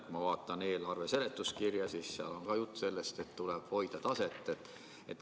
Kui ma vaatan eelarve seletuskirja, siis seal on ka juttu sellest, et taset tuleb hoida.